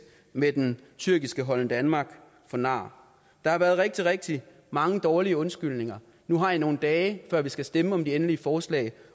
med den tyrkiske holden danmark for nar der har været rigtig rigtig mange dårlige undskyldninger nu har i nogle dage før vi skal stemme om det endelige forslag